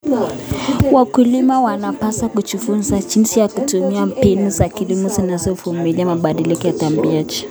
Wakulima wanapaswa kujifunza jinsi ya kutumia mbinu za kilimo zinazovumilia mabadiliko ya tabianchi.